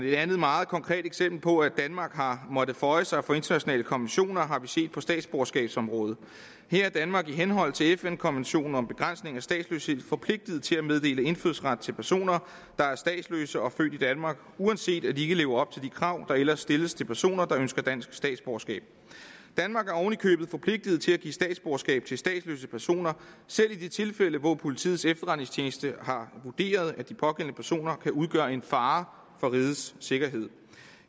et andet meget konkret eksempel på at danmark har måttet føje sig for internationale konventioner har vi set på statsborgerskabsområdet her er danmark i henhold til fn’s konvention om begrænsning af statsløshed forpligtet til at meddele indfødsret til personer der er statsløse og født i danmark uanset at de ikke lever op til de krav der ellers stilles til personer der ønsker dansk statsborgerskab danmark er ovenikøbet forpligtet til at give statsborgerskab til statsløse personer selv i de tilfælde hvor politiets efterretningstjeneste har vurderet at de pågældende personer kan udgøre en fare for rigets sikkerhed